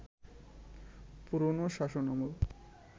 পুরনো শাসনামল